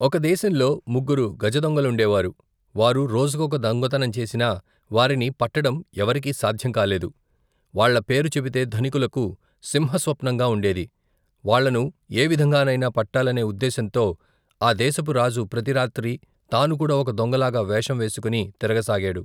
ఒక దేశంలో ముగ్గురు గజదొంగలుండే వారు వారు రోజుకొక దొంగతనం చేసినా వారిని పట్టడం ఎవరికీ సాధ్యం కాలేదు వాళ్ళ పేరు చెబితే ధనికులకు సింహస్వప్నంగా ఉండేది వాళ్లను ఏవిధంగానైనా పట్టాలనే ఉద్దేశంతో ఆ దేశపు రాజు ప్రతి రాత్రి తానుకూడా ఒక దొంగలాగ వేషం వేసుకుని తిరగసాగాడు.